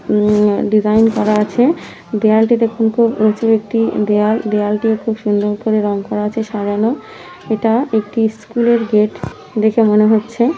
উম design করা আছে দেয়ালটি দেখুন খুব উঁচু একটি দেয়াল। দেয়ালটি খুব সুন্দর করে রং করা আছে সারানো এটা একটি স্কুল -এর গেট দেখে মনে হচ্ছে ।